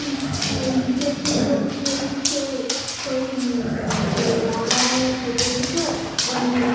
কি ইটের টুকরো ঢুকিয়ে দিচ্ছে সেই সেই online এসেছে